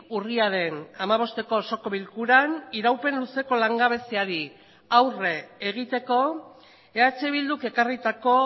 urriaren hamabosteko osoko bilkuran iraupen luzeko langabeziari aurre egiteko eh bilduk ekarritako